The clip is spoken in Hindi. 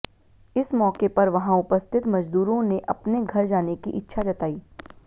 इस मौके पर वहां उपस्थित मजदूरों ने अपने घर जाने की इच्छा जताई